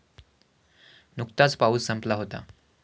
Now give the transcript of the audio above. नुकताच पाऊस संपला होता.